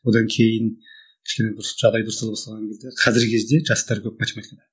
одан кейін кішкене бір жағдай дұрыстала бастаған кезде қазіргі кезде жастар көп математикадан